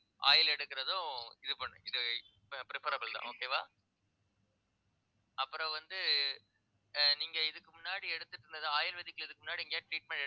oil எடுக்கறதும் இது பண்ணு இது preferable தான் okay வா அப்புறம் வந்து ஆஹ் நீங்க இதுக்கு முன்னாடி எடுத்துட்டு இருந்தது ayurvedic ல இதுக்கு முன்னாடி எங்கேயாவது treatment